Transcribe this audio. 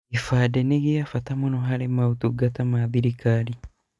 Kĩbandĩ nĩ gĩa bata mũno harĩ motungata ma thirikari.